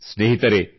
ಸ್ನೇಹಿತರೆ